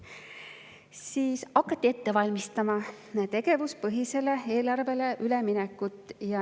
Siis hakati ette valmistama tegevuspõhisele eelarvele üleminekut.